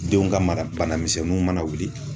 Denw ka mara banamisɛnninw mana wuli.